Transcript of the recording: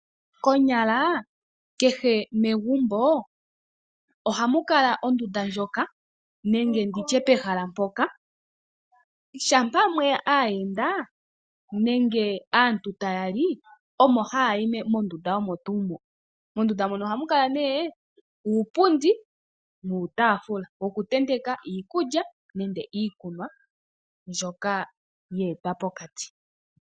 Konyala kehe megumbo ohamu kala ondunda ndjoka nenge ndi tye pehala mpoka shampa mwe ya aayenda nenge aantu taya li omo haya yi mondunda omo tuu mo. Mondunda mono ohamu kala nee uupundi nuutaafula wokutenteka iikulya nenge iikunwa mbyoka ye etwa pokati.